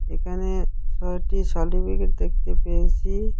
এখানে ছয়টি সার্টিফিকেট দেখতে পেয়েছি।